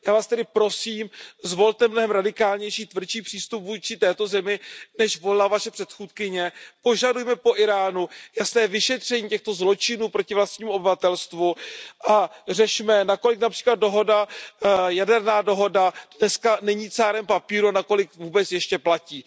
Já Vás tedy prosím, zvolte mnohem radikálnější, tvrdší přístup vůči této zemi, než volila Vaše předchůdkyně, požadujme po Íránu jasné vyšetření těchto zločinů proti vlastnímu obyvatelstvu a řešme, nakolik například jaderná dohoda dnes není cárem papíru a nakolik vůbec ještě platí.